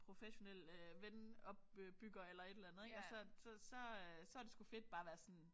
Professionel øh ven opbygger eller et eller andet ik og så så så øh så det sgu fedt bare at være sådan